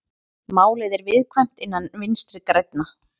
Málið er viðkvæmt innan Vinstri grænna